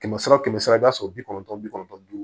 Kɛmɛ sara kɛmɛ sara i b'a sɔrɔ bi kɔnɔntɔn ni bi kɔnɔntɔn ni duuru